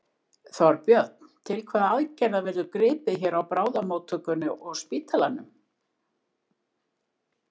Þorbjörn: Til hvaða aðgerða verður gripið hér á bráðamóttökunni og spítalanum?